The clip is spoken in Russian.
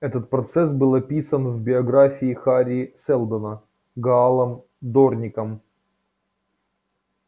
этот процесс был описан в биографии хари сэлдона гаалом дорником